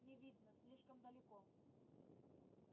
не видно слишком далеко